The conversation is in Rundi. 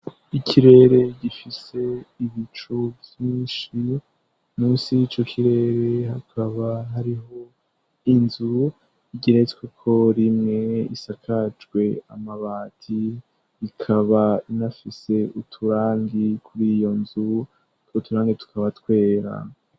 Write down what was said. Ikirere gifise ibicu vyinshi, musi y'ico kirere hakaba hariho inzu igeretsweko rimwe isakajwe amabati ikaba inafise uturangi kuriyo nzu, utwo turangi tukaba twera.